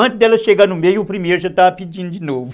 Antes dela chegar no meio, o primeiro já estava pedindo de novo.